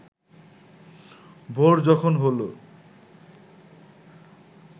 ভোর যখন হল